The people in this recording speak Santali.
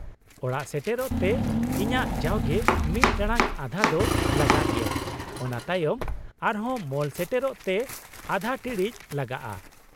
- ᱚᱲᱟᱜ ᱥᱮᱴᱮᱨᱚᱜ ᱛᱮ ᱤᱧᱟᱹᱜ ᱡᱟᱣᱜᱮ ᱢᱤᱫ ᱴᱟᱲᱟᱝ ᱟᱫᱷᱟ ᱫᱚ ᱞᱟᱜᱟᱜ ᱜᱮᱭᱟ ᱚᱱᱟ ᱛᱟᱭᱚᱢ ᱟᱨ ᱦᱚᱸ ᱢᱚᱞ ᱥᱮᱴᱮᱨᱚᱜ ᱛᱮ ᱟᱫᱷᱟ ᱴᱤᱬᱤᱡ ᱞᱟᱜᱟᱜᱼᱟ ᱾